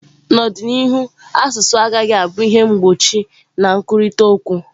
N'ọdịnihu asụsụ agaghị abụ ihe mgbochi na nkwurịta okwu.